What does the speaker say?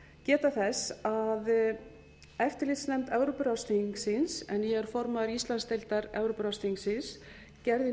geta þess að eftirlitsnefnd evrópuráðsþingsins en ég er formaður íslandsdeildar evrópuráðsþingsins gerði